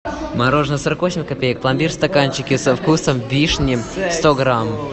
мороженое сорок восемь копеек пломбир в стаканчике со вкусом вишни сто грамм